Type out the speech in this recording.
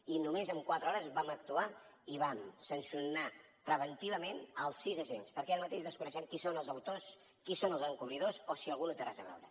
i només en quatre hores vam actuar i vam sancionar preventivament els sis agents perquè ara mateix desconeixem qui són els autors qui són els encobridors o si algú no hi té res a veure